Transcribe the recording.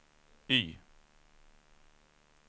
Y